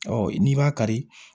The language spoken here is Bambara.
n'i b'a kari